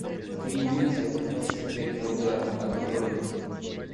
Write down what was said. три ниндзя наносят ответный удар открой